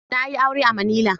Na yi aure a manila.